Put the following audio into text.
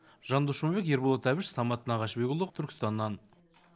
жандос жұмабек ерболат әбіш самат нағашыбекұлы түркістаннан